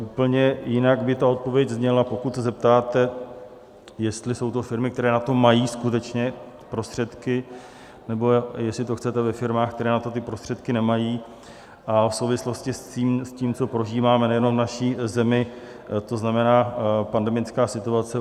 Úplně jinak by ta odpověď zněla, pokud se zeptáte, jestli jsou to firmy, které na to mají skutečně prostředky, nebo jestli to chcete ve firmách, které na to ty prostředky nemají v souvislosti s tím, co prožíváme nejenom v naší zemi, to znamená pandemická situace.